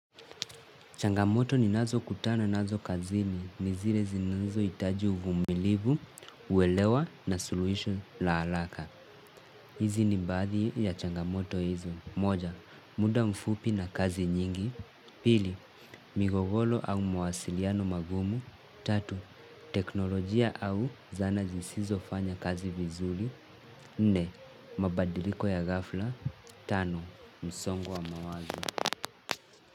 Changamoto ni nazo kutana nazo kazini ni zile zinanzo itaji uvumilivu, uwelewa na suluisho la halaka. Hizi ni mbadi ya changamoto hizo. Moja, muda mfupi na kazi nyingi. Pili, migogolo au mwasiliano magumu. Tatu, teknolojia au zana zisizo fanya kazi vizuli. Nne, mabadiliko ya ghafla. Tano, msongo wa mawazo.